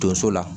Donso la